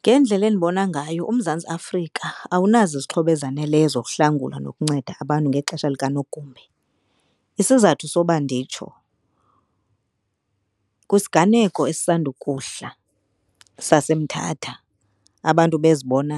Ngendlela endibona ngayo uMzantsi Afrika awunazo izixhobo ezaneleyo zokuhlangula nokunceda abantu ngexesha lika nogumbe. Isizathu soba nditsho, kwisiganeko esisandukuhla saseMthatha abantu bezibona